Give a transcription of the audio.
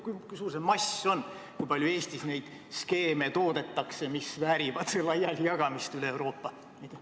Kui suur see mass on, kui palju Eestis neid skeeme toodetakse, mis väärivad laialijagamist üle Euroopa?